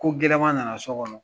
Ko gɛlɛma nana so kɔnɔ